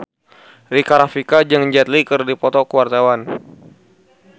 Rika Rafika jeung Jet Li keur dipoto ku wartawan